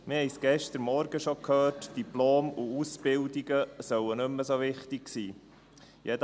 Wir haben es gestern Morgen schon gehört, Diplome und Ausbildungen sollen nicht mehr so wichtig sein.